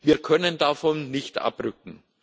Wir können davon nicht abrücken.